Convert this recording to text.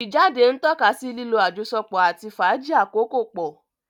Ijáde ntọkasí lilo àjọsọpọ ati fàájì akoko pọ.